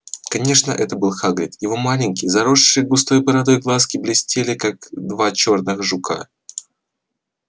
конечно это был хагрид его маленькие заросшие густой бородой глазки блестели как два чёрных жука